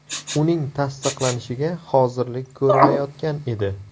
Uning tasdiqlanishiga hozirlik ko‘rilayotgan edi.